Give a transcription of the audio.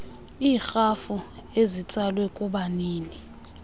iirhafu ezitsalwe kubanini